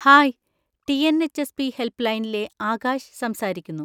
Hi! T N H S P. Help ലൈനിലെ ആകാശ് സംസാരിക്കുന്നു.